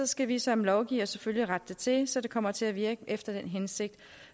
skal vi som lovgiver selvfølgelig rette det til så det kommer til at virke efter hensigten